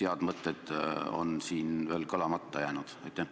Mis head mõtted on siin veel kõlamata jäänud?